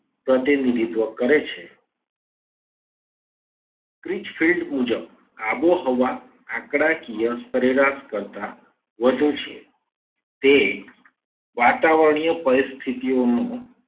પ્રતિનિધિત્વ કરે છે. kritch field મુજબ આબોહવા આંકડાકીય સરેરાશ કરતા વધુ છે. તે વાતાવરણીય પરિસ્થિતિઓ નું